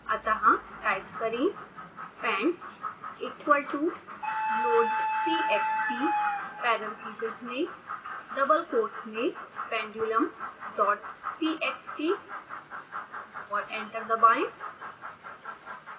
अतः टाइप करें pendequal toloadtxtparentheses में double quotes मेंpendulumdottxt और एंटर दबाएं